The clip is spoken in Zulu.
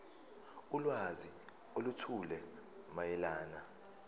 ulwazi oluthile mayelana